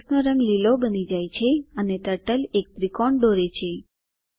કેનવાસનો રંગ લીલો બની જાય છે અને ટર્ટલ એક ત્રિકોણ દોરે છે